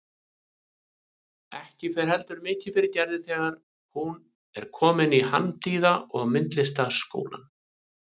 Ekki fer heldur mikið fyrir Gerði þegar hún er komin í Handíða- og myndlistaskólann.